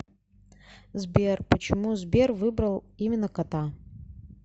сбер почему сбер выбрал именно кота